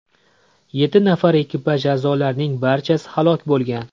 Yetti nafar ekipaj a’zolarining barchasi halok bo‘lgan.